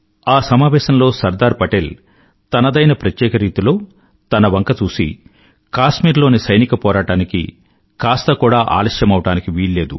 ఆ సమావేశంలో సర్దార్ పటేల్ తనదైన ప్రత్యేక రీతిలో తన వంక చూసి కాశ్మీరులోని సైనిక పోరాటానికి కాస్త కూడా ఆలస్యమవడానికి వీల్లేదు